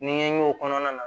N ye n y'o kɔnɔna na